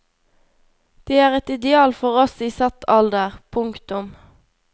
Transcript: De er et ideal for oss i satt alder. punktum